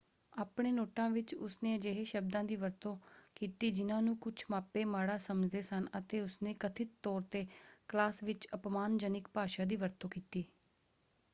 ਆਪਣੇ ਨੋਟਾਂ ਵਿੱਚ ਉਸਨੇ ਅਜਿਹੇ ਸ਼ਬਦਾਂ ਦੀ ਵਰਤੋਂ ਕੀਤੀ ਜਿਨ੍ਹਾਂ ਨੂੰ ਕੁਝ ਮਾਪੇ ਮਾੜਾ ਸਮਝਦੇ ਸਨ ਅਤੇ ਉਸਨੇ ਕਥਿਤ ਤੌਰ ‘ਤੇ ਕਲਾਸ ਵਿੱਚ ਅਪਮਾਨਜਨਕ ਭਾਸ਼ਾ ਦੀ ਵਰਤੋਂ ਕੀਤੀ।